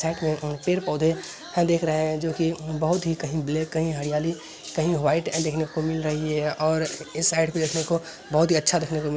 पेड़ पौधे है दिख रहे हैं जो कि बहोत ही कहीं ब्लैक कहीं हरियाली कहीं व्हाइट देखने को मिल रही है और इस साइड भी देखने को बहोत ही अच्छा देखने को मिल --